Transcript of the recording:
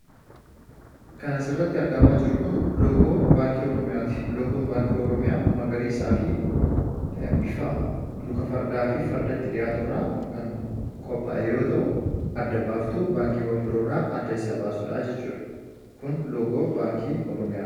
Kan asirratti argamu loogoo baankii Oromiyaati. Loogoon baankii Oromiyaa magariisaafi luka fardaafi faratti dhiyaaturraa kan qophaa'e yoo ta'u, adda baastuu baankiiwwan biroo irraa adda isa baasudhaa jechuudha. Kun loogoo baankii Oromiyaati.